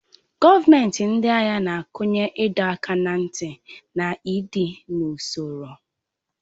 Gọọmenti ndị agha na-akụnye ịdọ aka ná ntị na ịdị n'usoro.